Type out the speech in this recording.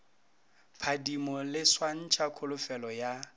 phadimo le swantšha kholofetšo ya